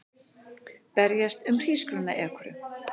Berjast um hrísgrjónaekru